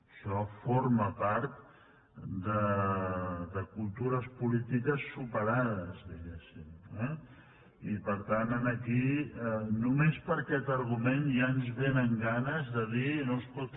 això for·ma part de cultures polítiques superades diguéssim eh i per tant aquí només per aquest argument ja ens vénen ganes de dir no escolti